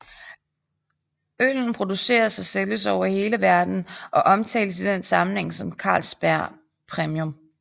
Øllen produceres og sælges over hele verden og omtales i den sammenhæng som Carlsberg Premium